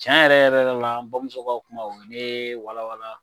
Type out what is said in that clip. Cɛn yɛrɛ yɛrɛ yɛrɛ la an bamuso ka kuma o ye ne walawala